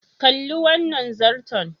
Kalli wannan zarton.